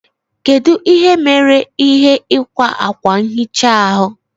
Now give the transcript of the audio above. Kedu ihe mere ihe ikwa akwa nhicha ahụ?